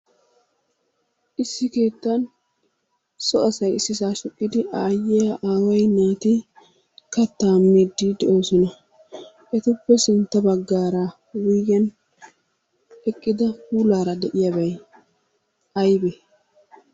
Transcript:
Issi keettan so asay issisaa shiiqidi aayiyaa aaway naati kattaa miiddi de'oosona. Etuppe sintta baggaara wuyigen eqqida puulaara de"iyabay aybee?